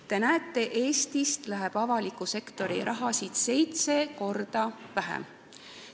Te näete, et Eestis läheb avaliku sektori raha sinna valdkonda seitse korda vähem.